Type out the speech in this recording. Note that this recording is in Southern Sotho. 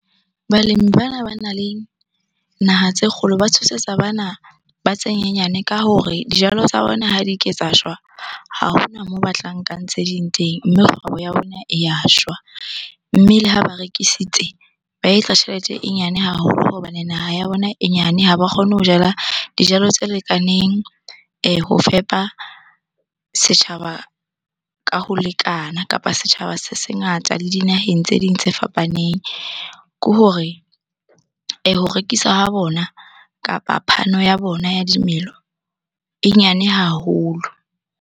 Balemi bana banang le naha tse kgolo ba tshosetsa bana ba tse nyenyane ka hore dijalo tsa bona ha di ke tsa shwa. Ha hona moo ba tla nkang tse ding teng, mme kgwebo ya rona e ya shwa. Mme le ha ba rekisitse, ba etsa tjhelete e nyane haholo hobane naha ya bona e nyane. Ha ba kgone ho jala dijalo tse lekaneng ho fepa setjhaba ka ho lekana kapa ha setjhaba se ngata le dinaheng tse ding tse fapaneng. Ke hore ho rekisa ha bona kapa phano ya bona ya dimelo e nyane haholo.